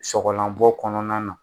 Sɔgɔlanbɔ kɔnɔna na